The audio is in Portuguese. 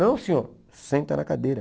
Não, senhor, senta na cadeira.